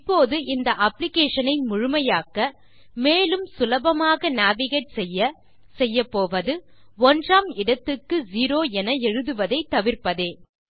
இப்போது இந்த அப்ளிகேஷன் ஐ முழுமையாக்க மேலும் சுலபமாக நேவிகேட் செய்ய செய்யப்போவது ஒன்றாம் இடத்துக்கு செரோ என எழுதுவதை தவிர்ப்பதே